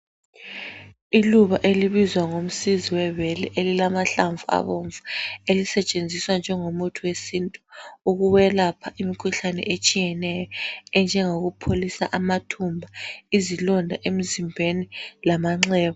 Iluba elibizwa ngomsizi webele elilamahlamvu abomvu elisetshenziswa njengomuthi wesintu ukwelapha imikhuhlane etshiyeneyo enjengokupholisa amathumba, izilonda emzimbeni lamanxeba.